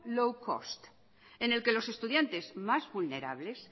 low cost en el que los estudiantes más vulnerables